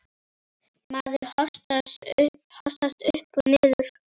Maður hossast upp og niður.